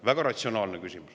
Väga ratsionaalne.